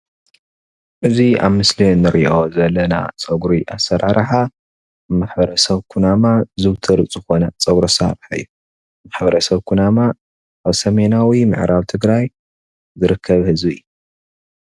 እዚ ኣብ ምስል ንርኦ ዘለና ፀጉሪ ኣስራራሓ ማሕበረ ሰብ ኩነማ ዝውትር ዝኮነ ፅጉሪ ኣሰራራሓ እዩ ። ማሕበረሰብ ኩነማ ኣብ ሰሜናዊ ምዕራብ ትግራይ ዝርከብ ህዝቢ እዩ።